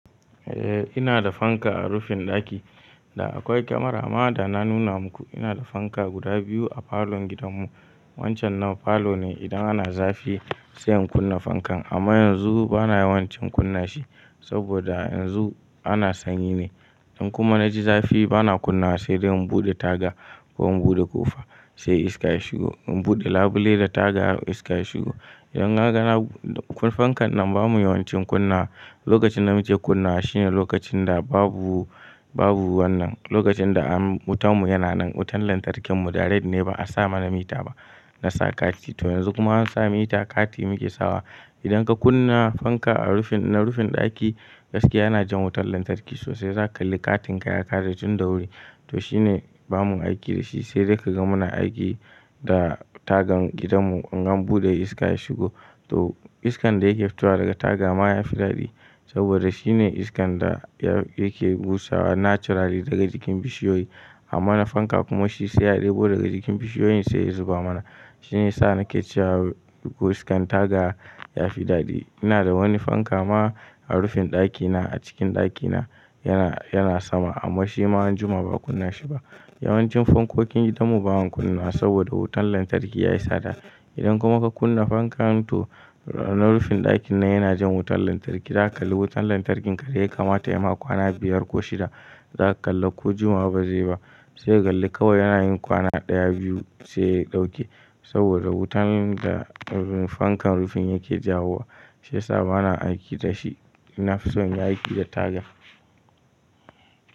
Eh ina da fanka a rufin ɗaki da akwai kamara. Amma da na nuna muku ina da fanka guda biyu a falon gidanmu. Wancan nan falo ne idan ana zafi sai in kunna fankan. Amma yanzu ba na yawan cin kunna shi saboda yanzu ana sanyi ne. Idan kuma na ji zafi ba na kunna sai dai in buɗe taga ko in buɗe ƙofa sai iska ya shigo. In buɗe labule da taga iska ya shigo. Idan na ga fankan nan ba mu yawan cin kunna. Lokacin da muke kunna shi ne lokacin da babu, babu wannan. Lokacin da wutanmu yana nan, wutan lantarkin mu direct ne ba a sa mana mita ba. Na sa kati to yanzu kuma an sa mita kati muke sawa. Idan ka kunna fanka a rufin, na rufin ɗaki gaske yana jan wutan lantarki sosai. Za ka kalli katin ka ya kare tun da wuri. To shi ne ba mu aiki da shi sai dai ka ga muna aiki da tagan gidanmu in an buɗe iska ya shigo. To iskan da yake fitowa daga taga ma ya fi daɗi saboda shi ne iskan da yake busawa naturally daga jikin bishiyoyi. Amma na fanka kuma shi sai a ɗebo daga jikin bishiyoyin sai ya zuba mana. Shi ne sa nake cewa iskan taga ya fi daɗi. Ina da wani fanka ma a rufin ɗakina a cikin ɗakina yana, yana sama amma shi ma anjima ba a kunna shi ba. Yawan cin fankokin gidanmu ba mu kunna saboda wutan lantarki ya yi tsada. Idan kuma ka kunna fanka to na rufin ɗakin nan yana jan wutan lantarki. Za ka kalli wutan lantarkin ka dai ya kamata ya ma kwana biyar ko shida. Za ka kalla ko juma'a ba zai ba. Sai ka kalli kawai yana yin kwana ɗaya, biyu sai ya ɗauke saboda wutan da fankan rufin yake jawowa. Shiyasa ba na aiki da shi. NI na fi son aiki da taga.